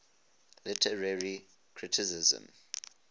literary criticism